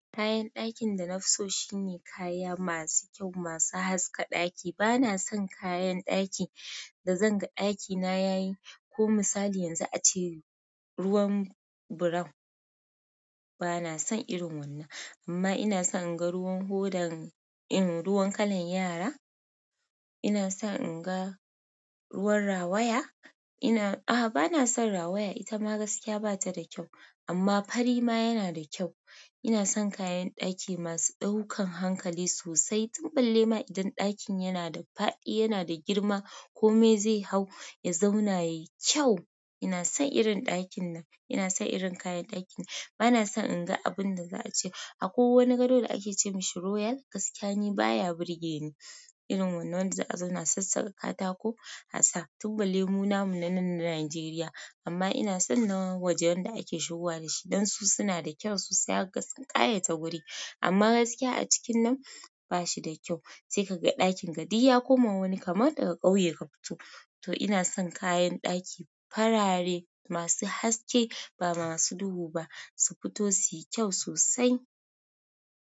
Kayam ɗakin danafiso shine kaya masu kyau kaya masu haska ɗaki banason kayan ɗakin dazanga ɗakina yayi ko misali yanzu ace ruwan buram. Bana son irin wannan, amma ina son in ga ruwan hoda, im ruwan kalan yara. Ina son in ga ruwan rawaya. Ina, a ba na son rawaya, ita ma gaskiya ba ta da kyau. Amma fari ma yana da kyau. Ina son kayan ɗaki masu ɗaukan hankali sosai. Tun balle ma idan ɗakin yana da faɗi, yana da girma ko me zai hau, ya zauna yayi kyau. Ina son irin ɗakin nan, ina son irin kayan ɗakin nan. Bana son in ga abun da za a ce a ko wani gado da ake ce mishi royal, gaskiya ni baya burge ni. Irin wannan da za a zauna sassaka katako a sa. Tun balle mu namu nan na Najeriya. Amma ina son na wajen da ake shigowa da shi, dan su suna da kyau sosai har sun ƙayata wuri. Amma gaskiya a cikin nan ba shi da kyau. Sai kaga duk ɗakinka duk ya koma wani kamar daga ƙauye kafito. To ina son kayan ɗaki farare masu haske ba masu duhu ba su fito su yi kyau sosai.